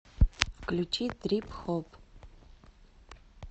включи трип хоп